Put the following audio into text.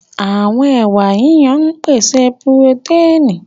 Àwọn ẹwà yíyan ń pèsè purotẹ́ẹ̀nì